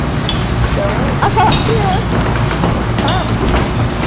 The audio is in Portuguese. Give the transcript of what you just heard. Então, achava... criança, sabe?